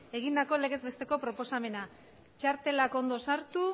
egindako legez besteko proposamena txartelak ondo sartu